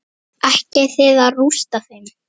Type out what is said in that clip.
Ætlið þið að rústa þeim?